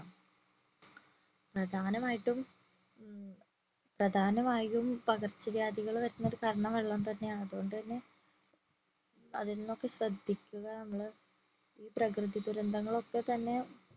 പ്രധാനായിട്ടും പ്രധാനമായും പകർച്ച വ്യാധികൾവരുന്നതിന് കാരണം വെള്ളം തന്നെ ആണ് അതോണ്ട് തന്നെ അതിനൊക്കെ ശ്രദ്ധിക്കുക നമ്മള് ഈ പ്രകൃതി ദുരന്തങ്ങളൊക്കെ തന്നെ